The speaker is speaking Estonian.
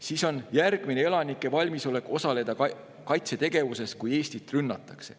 Siis on järgmine: "Elanike valmisolek osaleda kaitsetegevuses, kui Eestit rünnatakse".